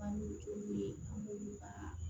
Banikuni an b'olu ka